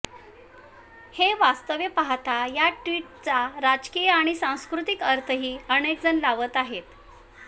हे वास्तव पाहता या ट्विटचा राजकीय आणि सांस्कृतिक अर्थही अनेकजण लावत आहेत